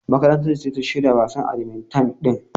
Makarantar su ce ta shirya wasan badmintan din.